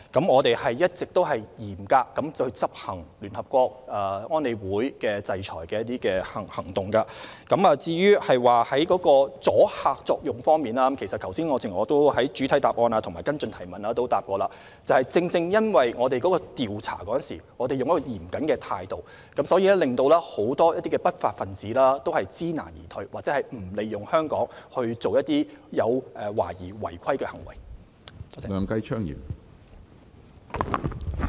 我們一直嚴格執行聯合國安理會的制裁行動，至於阻嚇作用方面，正如我剛才在主體和補充答覆時提過，因為我們調查嚴謹，令很多不法分子知難而退，或不會利用香港進行懷疑違法的行為。